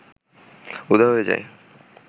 উধাও হয়ে যায়